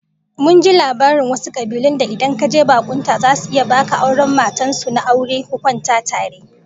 Mun ji labarin wasu kabilun da idan kaje bakunta zasu iya baka aron matan su na aure ku kwana tare!